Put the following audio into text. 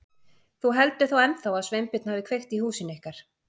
Þú heldur þá ennþá að Sveinbjörn hafi kveikt í húsinu ykkar?